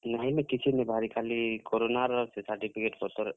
ନାଇ, ନାଇ କିଛି ନି ବାହାରି ଖାଲି କୋରୋନା ର certificate ପତର୍ ସବୁ ଜିନିଷ୍ ର ଇଟା କରୁଥିଲି ନା।